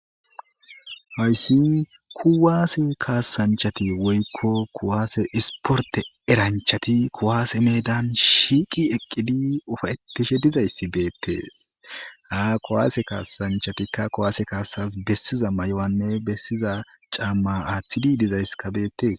hayssi kuwaase kaasanchati woykko kuwaase isporte eranchati kowaase meedan shiiqi eqqidi ufawettishe dizayssi beettees ha kuwaase kaasanchatikka kuwaase kaasas bessiza may7owanne bessiza caamma aaththidi dizayskabeettees